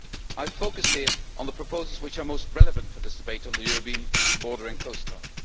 I have focused here on the proposals which are most relevant for this debate on the European Border and Coast Guard.